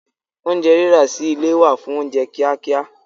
Oúnjẹ rírà sí ilé wà fún oúnjẹ kíá kíá